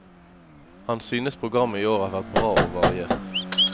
Han synes programmet i år har vært bra og variert.